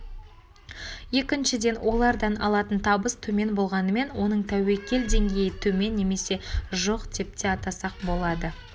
екіншіден олардан алатын табыс төмен болғанымен оның тәуекел деңгейі төмен немесе жоқ деп те атасақ болады